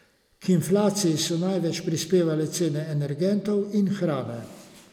K inflaciji so največ prispevale cene energentov in hrane.